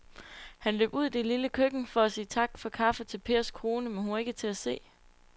Han løb ud i det lille køkken for at sige tak for kaffe til Pers kone, men hun var ikke til at se.